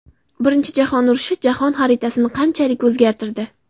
Birinchi jahon urushi jahon xaritasini qanchalik o‘zgartirdi?